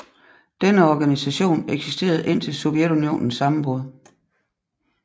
Denne organisation eksisterede indtil Sovjetunionens sammenbrud